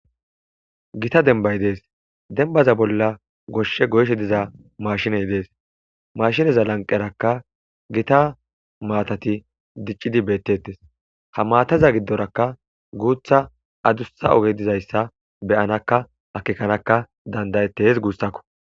Gita denbay dees dembaza bolla goshshe goyshe diza maashiney dees mashineza lanqerakka gita maatati diccidi beettettes ha maataza giddorakka guutha adussa oge dizayssa beyanakka akekanaka dandayettehes guussako.